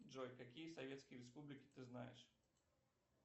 джой какие советские республики ты знаешь